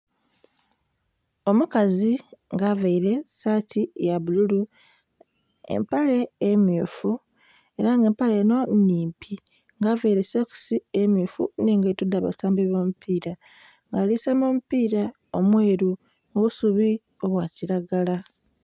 Omukazi nga avaire saati ya bbululu empale emmyufu era nga empale enho nnhimpi nha avaire sokisi emmyufu nhe engaito dha basambi bo mupira nga ali saamba omupira omweru ku busubi obwa kilagala.